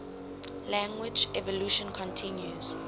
language evolution continues